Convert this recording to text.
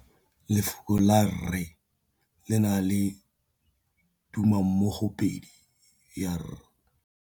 Lefoko la rre, le na le tumammogôpedi ya, r.